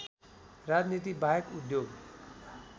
राजनीति बाहेक उद्योग